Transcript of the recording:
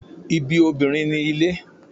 Ibi obinrin ni ile